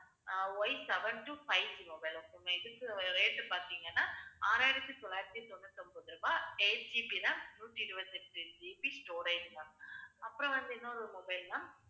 அஹ் Yseven two 5G mobile ma'am இதுக்கு rate பாத்தீங்கன்னா, ஆறாயிரத்தி தொள்ளாயிரத்தி தொண்ணூத்தி ஒன்பது ரூபாய் 8GB RAM நூத்தி இருபத்தி எட்டு GB storage ma'am அப்புறம் வந்து, இன்னொரு mobile ma'am